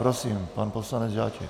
Prosím, pan poslanec Žáček.